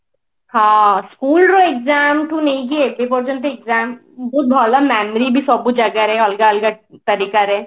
ହଁ school ର exam ଠୁ ନେଇକି ଏତେ ପର୍ଯ୍ୟନ୍ତ exam ବହୁତ ଭଲ memory ବି ସବୁ ଜାଗାରେ ଅଲଗା ଅଲଗା ତରିକା ରେ